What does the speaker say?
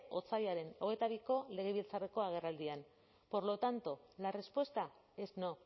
otsailaren hogeita biko legebiltzarreko agerraldian por lo tanto la respuesta es no